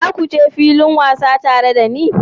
Za ku je filin wasa tare da ni?